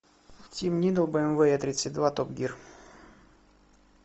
бмв е тридцать два топ гир